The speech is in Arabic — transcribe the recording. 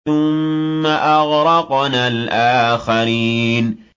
ثُمَّ أَغْرَقْنَا الْآخَرِينَ